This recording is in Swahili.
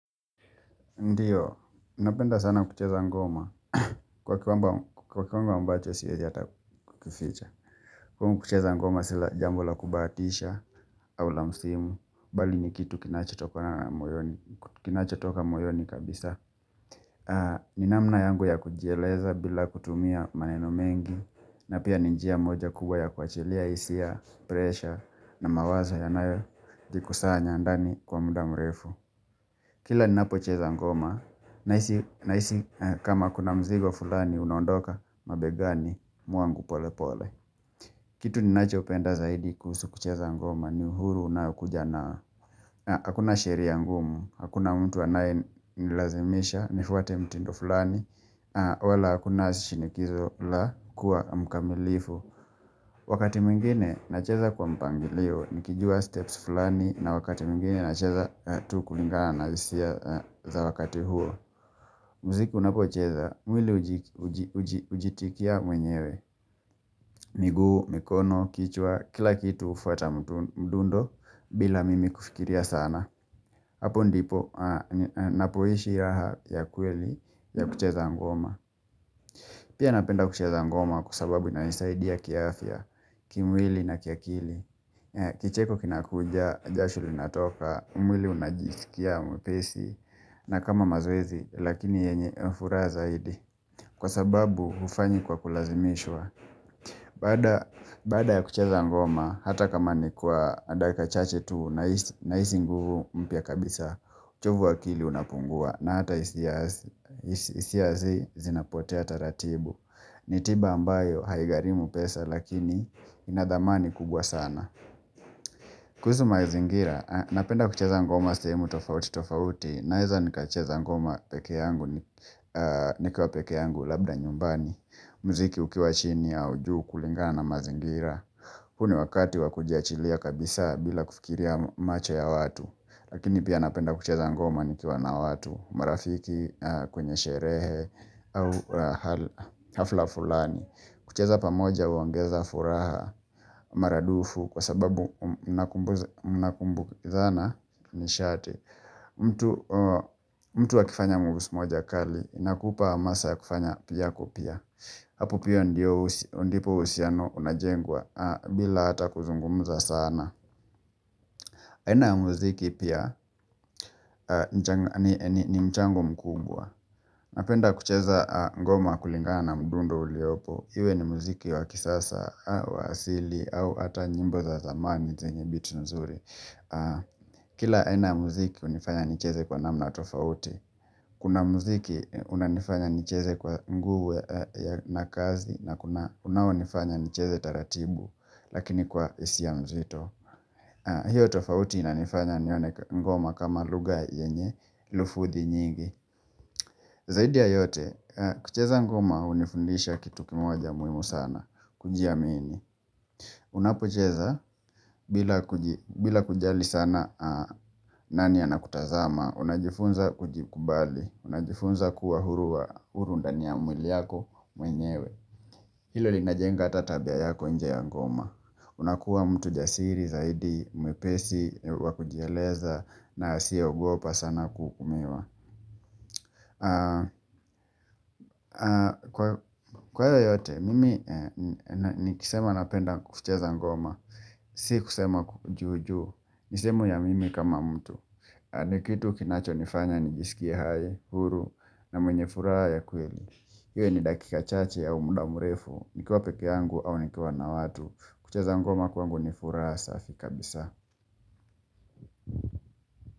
Ndiyo, napenda sana kucheza ngoma. Kwa kiwango ambacho siwezi hata kuficha. Kumu kucheza ngoma sila jambo la kubatisha, au la msimu, bali ni kitu kinacho toka moyoni kabisa. Ninamna yangu ya kujieleza bila kutumia maneno mengi, na pia ninjia moja kubwa ya kuachilia isia, pressure, na mawazo yanayo jikusanya ndani kwa muda mrefu. Kila ni napo cheza ngoma, na isi kama kuna mzigo fulani unaondoka mabegani mwangu pole pole. Kitu ni nacho penda zaidi kuhusu kucheza ngoma ni uhuru unaokuja na. Hakuna sheria ngumu, hakuna mtu anaye nilazimisha, nifuate mtindo fulani, wala hakuna shinikizo la kuwa mkamilifu. Wakati mwingine na cheza kwa mpangilio, nikijua steps fulani na wakati mwingine na cheza tu kulingana na hisia za wakati huo. Muziki unapo cheza, mwili ujitikia mwenyewe. Miguu, mikono, kichwa, kila kitu ufata mdundo bila mimi kufikiria sana. Hapo ndipo napoishi raha ya kweli ya kucheza ngoma. Pia napenda kucheza ngoma kwa sababu ina nisaidia kiaafya, kimwili na kia kili. Kicheko kinakuja, jasho linatoka, mwili unajisikia mwepesi, na kama mazoezi, lakini yenye furaha zaidi. Kwa sababu, ufanya kwa kulazimishwa. Baada ya kucheza ngoma, hata kama ni kwa dakika chache tu, na isi nguvu mpya kabisa, uchovu waakili unapungua, na hata isiazi zinapote hata ratibu. Ni tiba ambayo haigarimu pesa, lakini inadhamani kubwa sana. Kuzu mazingira, napenda kucheza ngoma semu tofauti tofauti, naiza nikacheza ngoma peke yangu, nikua peke yangu labda nyumbani, mziki ukiwa chini au juu kulingana na mazingira. Kuna wakati wakujia chilia kabisa bila kufikiria macho ya watu, lakini pia napenda kucheza ngoma nikua na watu, marafiki, kwenye sherehe, hafla fulani. Kucheza pamoja uongeza furaha maradufu kwa sababu unakumbu kithana ni shate. Mtu wakifanya mubus moja kali inakupa masa ya kufanya piyako pia. Hapopia ndipo uhusiano unajengwa bila hata kuzungumuza sana. Haina ya muziki pia ni mchango mkubwa. Napenda kucheza ngoma kulingana na mdundo uliopo. Iwe ni muziki wa kisasa au asili au ata nyimbo za zamani zenye biti nzuri Kila haina muziki unifanya nicheze kwa namna tofauti Kuna muziki unanifanya nicheze kwa nguvu na kazi na kuna unanifanya nicheze taratibu Lakini kwa isi ya mzito hiyo tofauti inanifanya nione ngoma kama luga yenye lufuthi nyingi Zaidi ya yote, kucheza ngoma unifundisha kitu kimoja muimu sana kujiamini Unapocheza bila kujali sana nani anakutazama Unajifunza kujikubali Unajifunza kuwa huru ndani ya mwili yako mwenyewe Hilo linajenga hata tabia yako inje ya ngoma unakuwa mtu jasiri zaidi mwepesi wakujieleza na siya ugopa sana kukumewa Kwa hiyo yote mimi nikisema napenda kucheza ngoma Si kusema juujuu misemo ya mimi kama mtu ni kitu kinacho nifanya nijisikie hai, huru na mwenye furaha ya kweli hiyo ni dakika chache ya muda mrefu nikiwa peke angu au nikiwa na watu kucheza ngoma kwangu nifuraha safi kabisa.